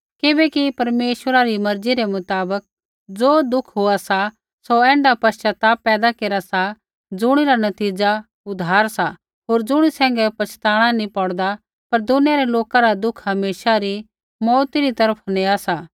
किबैकि परमेश्वर री मर्जी रै मुताबक ज़ो दुःख होआ सा सौ ऐण्ढा पश्चाताप पैदा केरा सा ज़ुणिरा नतीज़ा उद्धार सा होर ज़ुणी सैंघै पछ़ताणा नी पौड़दा पर दुनिया रै लोका रा दुःख हमेशा री मौऊती तरफ़ नेआ सा